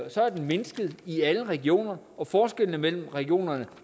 mindsket i alle regioner og forskellene mellem regionerne